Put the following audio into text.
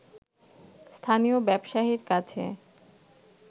স্থানীয় ব্যবসায়ীর কাছে